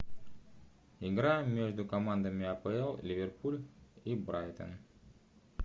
игра между командами апл ливерпуль и брайтон